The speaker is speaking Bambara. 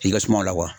I ka sumaw la wa